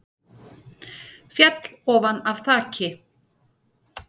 Féll ofan af þaki